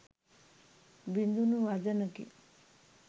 බිඳුනු වදනකි.